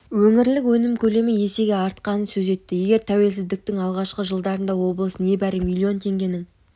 өңірлік өнім көлемі есеге артқанын сөз етті егер тәуелсіздіктің алғашқы жылдарында облыс небәрі млн теңгенің